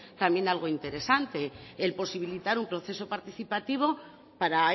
también algo interesante el posibilitar un proceso participativo para